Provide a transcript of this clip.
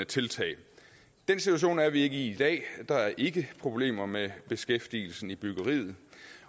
tiltag den situation er vi ikke i i dag der er ikke problemer med beskæftigelsen i byggeriet